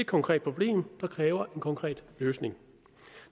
konkret problem der kræver en konkret løsning